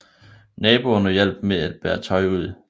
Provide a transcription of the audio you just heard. Naboerne hjalp med bære tøj ud